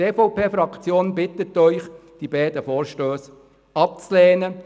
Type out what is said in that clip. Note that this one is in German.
Die EVP-Fraktion bittet Sie, die beiden Vorstösse abzulehnen.